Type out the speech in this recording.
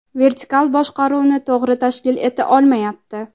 vertikal boshqaruvni to‘g‘ri tashkil eta olmayapti.